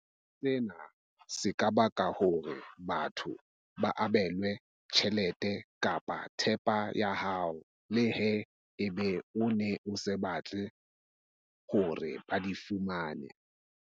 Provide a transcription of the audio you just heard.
Sena se ka baka hore batho ba abelwe tjhelete kapa thepa ya hao, leha ebe o ne o sa batle hore ba di fumane.